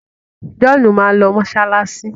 John má lọ masalasi.